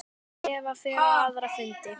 Eva fer á aðra fundi.